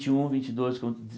vinte um vinte dois quando de